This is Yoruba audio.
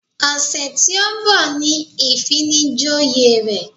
Ọ̀sẹ̀ tí ó ń bọ̀ ni ìfinijoyè rẹ̀